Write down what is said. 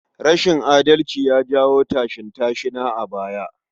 Rashin adalci ya jawo tashin-tashina a baya.